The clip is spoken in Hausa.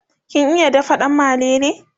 kin iya dafa dan malele?